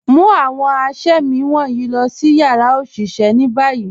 Mu awọn àṣẹ̀mí wọnyi lọ̀ si yara oṣiṣẹ̀ ni bayi.